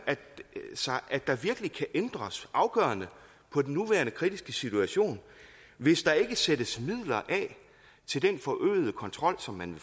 sig at der virkelig kan ændres afgørende på den nuværende kritiske situation hvis der ikke sættes midler af til den forøgede kontrol som man